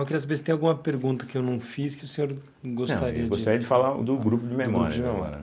Eu queria saber se tem alguma pergunta que eu não fiz que o senhor gostaria de... Eu gostaria de falar do grupo de memórias.